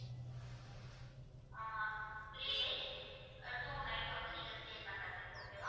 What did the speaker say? ஆஹ் three days ah two night வந்து நீங்க stay பண்றது okay வா